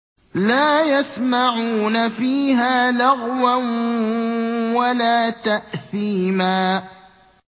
لَا يَسْمَعُونَ فِيهَا لَغْوًا وَلَا تَأْثِيمًا